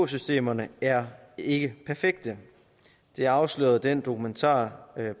systemerne er ikke perfekte det afslørede den dokumentar